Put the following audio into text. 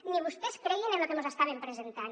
ni vostès creien en lo que mos estaven presentant